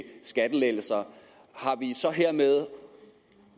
skattelettelser har vi så hermed